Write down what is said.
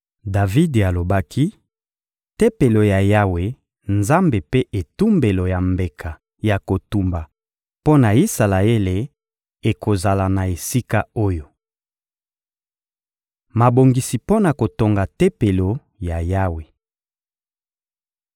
Davidi alobaki: «Tempelo ya Yawe Nzambe mpe etumbelo ya mbeka ya kotumba mpo na Isalaele ekozala na esika oyo.» Mabongisi mpo na kotonga Tempelo ya Yawe